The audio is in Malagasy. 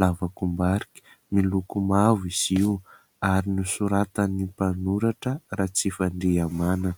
lavakombarika. Miloko mavo izy io ary nosoratan'ny mpanoratra Ratsifandrihamanana.